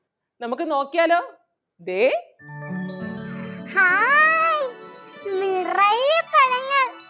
നമുക്ക് നോക്കിയാലോ? ദേ